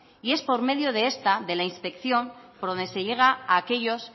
y es por medio de esta de la inspección por donde se llega a aquellos